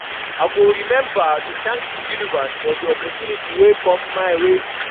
I go remember to thank the universe for the opportunities wey come my way.